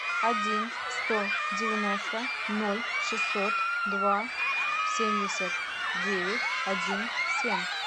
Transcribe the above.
один сто девяносто ноль шестьсот два семьдесят девять один семь